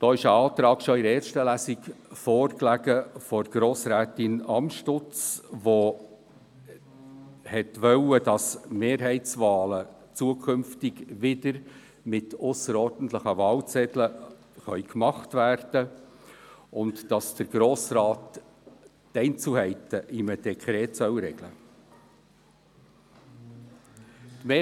Dazu lag bereits in der ersten Lesung ein Antrag von Grossrätin Amstutz vor, wonach Mehrheitswahlen künftig wieder mit ausserordentlichen Wahlzetteln vorgenommen werden können und der Grosse Rat die Einzelheiten in einem Dekret regeln soll.